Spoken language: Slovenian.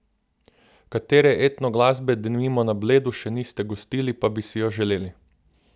Katere etno glasbe denimo na Bledu še niste gostili, pa bi si jo želeli?